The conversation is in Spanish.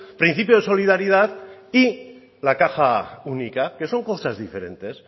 principio de solidaridad y la caja única que son cosas diferentes